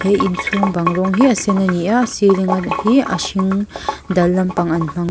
he inchhung bang rawng hi a sen ani a a ceiling a ni a hring dal lampang an hmang.